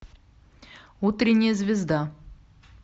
утренняя звезда